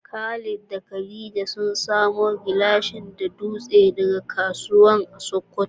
Khalid da Khadija sun samo gilashi da dutse daga kasuwa a Sokoto.